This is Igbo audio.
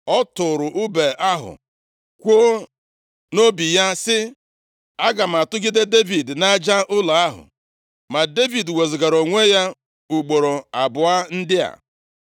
Ọ tụrụ ùbe ahụ, kwuo nʼobi ya sị, “Aga m atụgide Devid nʼaja ụlọ ahụ.” Ma Devid wezugara onwe ya, ugboro abụọ ndị a.